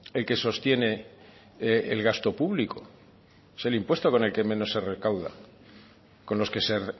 el que sostiene el gasto público es el impuesto con el que menos se recauda con los que se